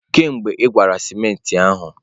Kedu mgbe ị gwara simenti ahụ?